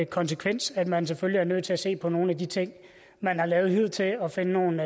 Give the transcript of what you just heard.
konsekvens at man selvfølgelig er nødt til at se på nogle af de ting man har lavet hidtil og finde nogle